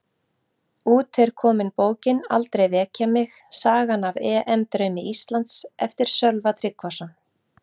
Út er komin bókin Aldrei Vekja Mig, sagan af EM draumi Íslands, eftir Sölva Tryggvason